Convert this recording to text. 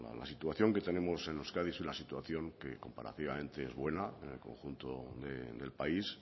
la situación que tenemos en euskadi es una situación que comparativamente es buena en el conjunto del país